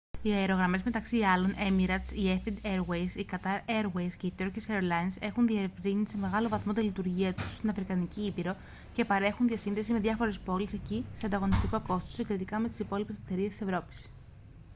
οι αερογραμμές μεταξύ άλλων η emirates η etihad airways η qatar airways και η turkish airlines έχουν διευρύνει σε μεγάλο βαθμό τη λειτουργία τους στην αφρικανική ήπειρο και παρέχουν διασύνδεση με διάφορες πόλεις εκεί σε ανταγωνιστικό κόστος συγκριτικά με τις υπόλοιπες εταιρείες της ευρώπης